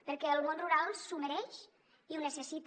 perquè el món rural s’ho mereix i ho necessita